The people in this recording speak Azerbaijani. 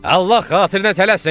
Allah xatirinə tələsin!